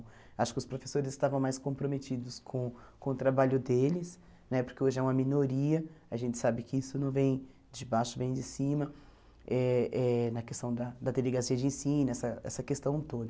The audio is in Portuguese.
Acho que os professores estavam mais comprometidos com com o trabalho deles, né porque hoje é uma minoria, a gente sabe que isso não vem de baixo, vem de cima, eh eh na questão da da delegacia de ensino, essa essa questão toda.